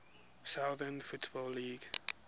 southern football league